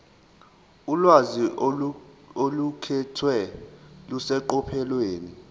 ulwazi oluqukethwe luseqophelweni